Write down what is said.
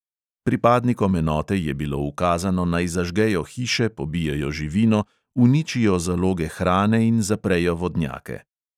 Pripadnikom enote je bilo ukazano, naj zažgejo hiše, pobijejo živino, uničijo zaloge hrane in zaprejo vodnjake.